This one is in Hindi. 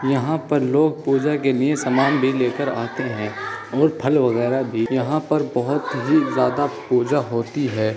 यहाँ पर लोग पूजा के लिए सामान भी लेकर आते है और फल वगेरा भी यहाँ पर बहुत ही ज्यादा पूजा होती है।